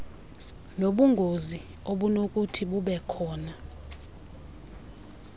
nobungozi obunokuthi bubekhona